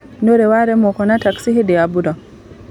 Nĩũrĩ waremwo kuona taxi hĩndĩ ya mbura?